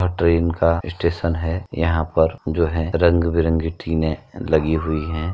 यह ट्रेन का स्टेशन है। यहाँ पर जो है रंग बिरंगी टिने लगी हुई हैं।